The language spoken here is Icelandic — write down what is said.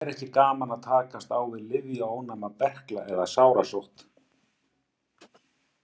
Það væri ekki gaman að takast á við lyfjaónæma berkla eða sárasótt.